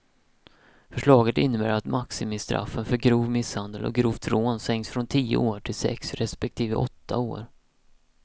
Förslaget innebär att maximistraffen för grov misshandel och grovt rån sänks från tio år till sex respektive åtta år.